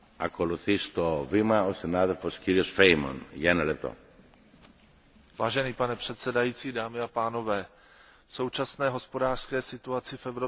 Pane předsedající, v současné hospodářské situaci v Evropské unii nemůžeme postupovat v rozpočtových otázkách jinak než odpovědně.